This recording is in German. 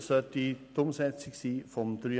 Buchstabe h. Artikel